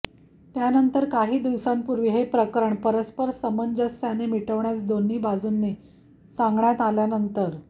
त्यानंतर काही दिवसांपूर्वी हे प्रकरण परस्पर सामंजस्याने मिटवण्यास दोन्ही बाजूंनी सांगण्यात आल्यानंतर न्या